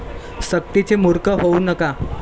सक्तीचे मूर्ख होऊ नका.